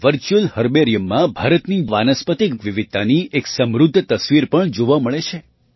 virtual herbarium માં ભારતની વાનસ્પતિક વિવિધતાની એક સમૃદ્ધ તસવીર પણ જોવા મળે છે